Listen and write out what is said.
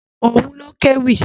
Òun ló kéwì.